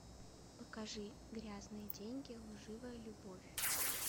покажи грязные деньги лживая любовь